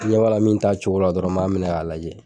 ni n ɲɛ b'a la min t'a cogo la dɔrɔn n m'a minɛ k'a lajɛ.